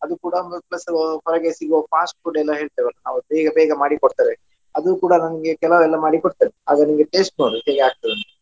ಅದು ಕೂಡ ಒಂದು plus ಹೊರಗೆ ಸಿಗುವ fast food ಎಲ್ಲಾ ಹೇಳ್ತೆವಲ್ಲ ನಾವು ಬೇಗ ಬೇಗ ಮಾಡಿ ಕೊಡ್ತೇವೆ ಅದು ಕೂಡ ನನ್ಗೆ ಕೆಲವು ಎಲ್ಲ ಮಾಡಿ ಕೊಡ್ತೇನೆ. ಅದು ನಿನ್ಗೆ taste ನೋಡು ಹೇಗೆ ಆಗ್ತದೆ ಅಂತ.